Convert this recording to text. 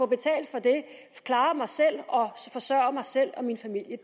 betalt for det klare mig selv og forsørge mig selv og min familie